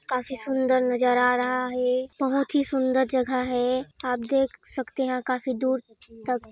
काफ़ी सुंदर नज़र आ रहा है बहुत सुंदर जगह है आप देख सकते हैं आप देख सकते काफी दूर तक--